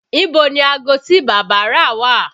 Ibo ni aago tí bàbá rà wà?